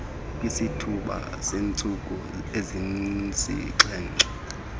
kwisithuba seentsuku ezisixhenxe